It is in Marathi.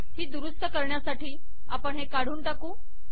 ही दुरुस्त करण्यासाठी आपण हे काढून टाकू